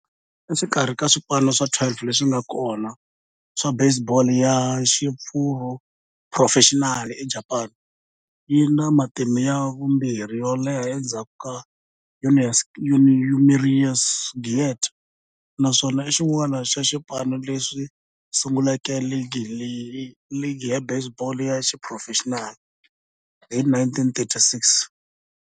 Exikarhi ka swipano swa 12 leswi nga kona swa baseball ya xiphurofexinali eJapani, yi na matimu ya vumbirhi yo leha endzhaku ka Yomiuri Giants, naswona i xin'wana xa swipano leswi sunguleke ligi ya baseball ya xiphurofexinali hi 1936.